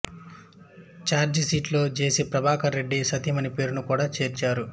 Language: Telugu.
ఛార్జీషీటులో జెసి ప్రభాకర్ రెడ్డి సతీమణి పేరును కూడా చేర్చారు